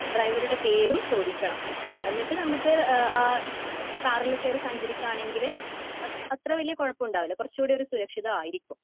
ഡ്രൈവറുടെ പേരും ചോദിക്കണം. എന്നിട്ട് നമുക്ക് ആ കാറിൽ കേറി സഞ്ചരിക്കാണെങ്കിൽ അത്ര വലിയ കുഴപ്പം ഉണ്ടാകില്ല കുറച്ചൂടെ ഒരു സുരക്ഷിതമായിരിക്കും